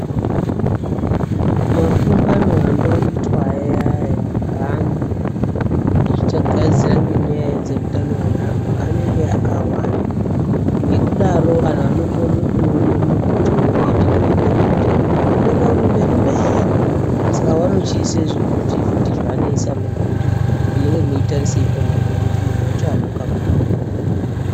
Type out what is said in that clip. Makungano anoitwa ayaya ngeantu, achigadzira ngenyaya dzeutano hweanhu anenge akawanda ngekudaro vanhu vanokorera kuona munhu wacho unenge echireketa ngekuti unenge uri mberi mberi Saka vanochiise zvivhiti vhiti zvaanoisamwo zvekuti munotarisa apapo ngekuti munhu wacho amungamuoni.